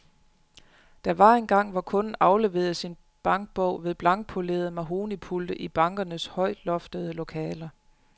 Der var engang, hvor kunden afleverede sin bankbog ved blankpolerede mahognipulte i bankernes højloftede lokaler.